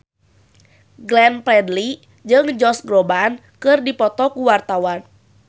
Glenn Fredly jeung Josh Groban keur dipoto ku wartawan